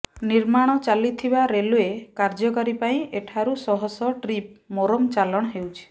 ନିର୍ମାଣ ଚାଲିଥିବା ରେଲଓ୍ବେ କାର୍ଯ୍ୟପାଇଁ ଏଠାରୁ ଶହଶହ ଟ୍ରିପ ମୋରମ ଚାଲାଣ ହେଉଛି